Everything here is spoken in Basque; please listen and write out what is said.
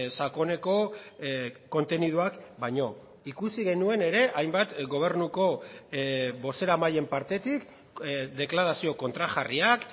sakoneko konteniduak baino ikusi genuen ere hainbat gobernuko bozeramaileen partetik deklarazio kontrajarriak